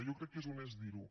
jo crec que és honest dir ho